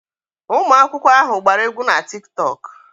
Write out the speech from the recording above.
Ụmụ akwụkwọ ahụ gbara egwu na Tiktok.